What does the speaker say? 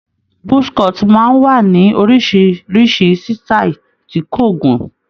Buzz cut máa ń wá ní oríṣiríṣi sítáì tí kò gùn m